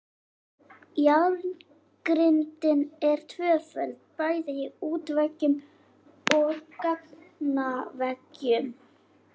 Járngrindin er tvöföld bæði í útveggjum og gangaveggjum.